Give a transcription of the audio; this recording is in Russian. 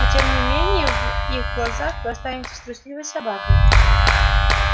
но тем не менее в их глазах вы останетесь трусливой собакой